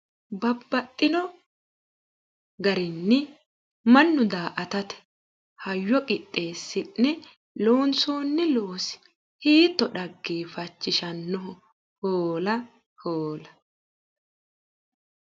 Babbaxino garinni mannu daa"attate hayyo qixxeesi'ne loonsonni loosi hiitto dhaggeeffachishanoho !! Hoola !! Hoola !!